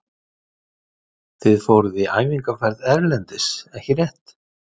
Þið fóruð í æfingaferð erlendis ekki rétt?